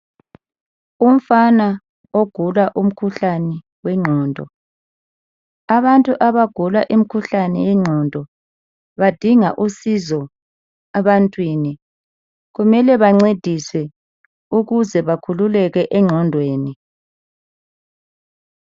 Umfana Ogula umkhuhlane wengqondo Abantu abagula imkhuhlane yengqondo badinga usizo ebantwini kumele bancediswe ukuze bakhululeke engqondweni